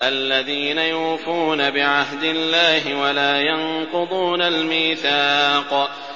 الَّذِينَ يُوفُونَ بِعَهْدِ اللَّهِ وَلَا يَنقُضُونَ الْمِيثَاقَ